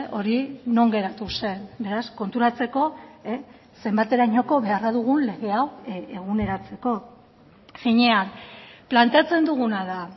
hori non geratu zen beraz konturatzeko zenbaterainoko beharra dugun lege hau eguneratzeko finean planteatzen duguna da